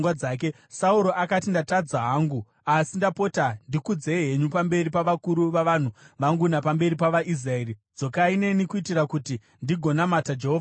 Sauro akati, “Ndatadza hangu. Asi ndapota ndikudzei henyu pamberi pavakuru vavanhu vangu napamberi pavaIsraeri; dzokai neni kuitira kuti ndigononamata Jehovha Mwari wenyu.”